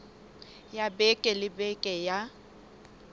ya beke le beke ya